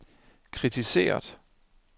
kritiseret